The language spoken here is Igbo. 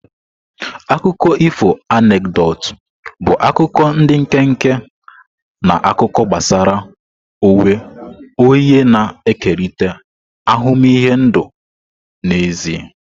Akụkọ ifo anekdotu bụ akuko ndi nkenke na akụkọ gbasara onwe onye na-ekerịta ahụmịhe ndụ n'ezie.